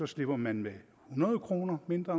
slipper man med hundrede kroner mindre